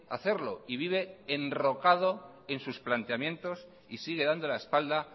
hacerlo y vive enrocado en sus planteamientos y sigue dando la espalda